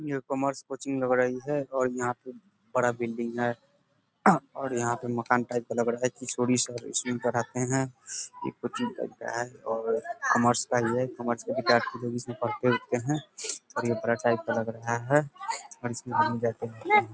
New commerce coaching लग रही है और यहाँ पे बड़ा बिल्डिंग है। और यहाँ पे मकान टाइप का लग रहा है किसोरी सर इसमें पढ़ाते है ये कोचिंग लग रहा है और कॉमर्स का ये है कॉमर्स का विद्यार्थी इसमें पढ़ते उरते हैं और ये बड़ा टाइप का लग रहा है और इसमें --